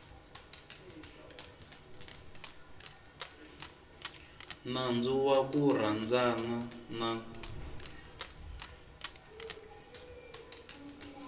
nandzu wa ku rhandzana na